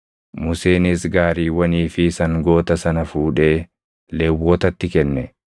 Museenis gaariiwwanii fi sangoota sana fuudhee Lewwotatti kenne.